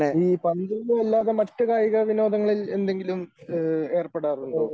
ഈ പന്തുകളി അല്ലാതെ മറ്റു കായിക വിനോദങ്ങളിൽ എന്തെങ്കിലും ഏ ഏർപ്പെടാറുണ്ടോ?